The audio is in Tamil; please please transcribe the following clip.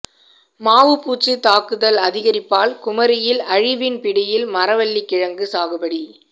மாவுப்பூச்சி தாக்குதல் அதிகரிப்பால் குமரியில் அழிவின் பிடியில் மரவள்ளி கிழங்கு சாகுபடி